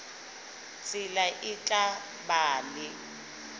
tsela e tla ba le